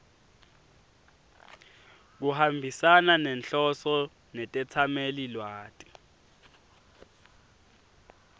kuhambisana nenhloso netetsamelilwati